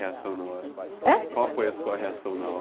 reação na hora? heim? qual foi a sua reação na hora?